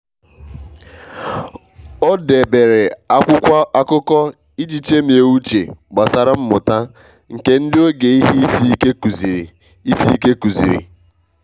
o debere akwụkwọ akụkọ iji chemie uche gbasara mmuta nke ndị oge ihe isi ike kuziri. isi ike kuziri.